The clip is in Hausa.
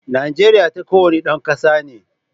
Kasan Najeriya ta kowane dan kasa ne.